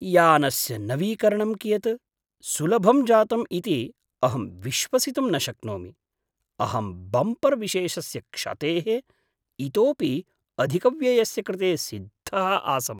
यानस्य नवीकरणं कियत् सुलभं जातम् इति अहं विश्वसितुं न शक्नोमि, अहं बम्पर् विशेषस्य क्षतेः इतोपि अधिकव्ययस्य कृते सिद्धः आसम्।